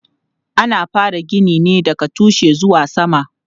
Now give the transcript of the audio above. Ana fara gini ne daga tushe zuwa sama.